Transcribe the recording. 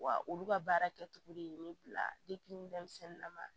Wa olu ka baara kɛtogo de ye ne bila denmisɛnnin na